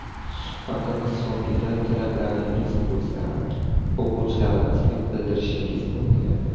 Suhbatimiz so‘nggida tilaklaringiz bo‘lsa, o‘quvchilarimizga bildirishingiz mumkin.